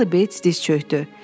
Charlie Bates diz çökdü.